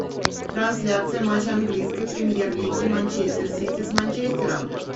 трансляция матча английской премьер лиги манчестер сити с манчестером